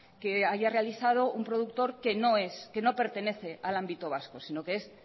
que haya realizado un productor que no es que no pertenece al ámbito vasco sino que es